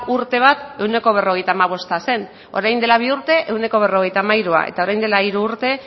urte bat ehuneko berrogeita hamabosta zen orain dela bi urte ehuneko berrogeita hamairua eta orain dela hiru urte